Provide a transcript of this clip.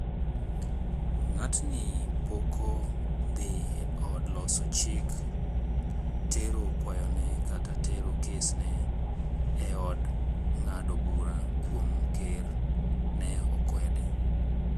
"Ng'atni poko dhi e od loso chik tero kwayo ne kata tero kes ne e od ng'ado bura kuom ker," ne okwede